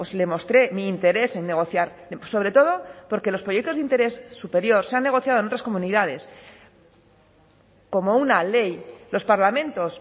le mostré mi interés en negociar sobre todo porque los proyectos de interés superior se han negociado en otras comunidades como una ley los parlamentos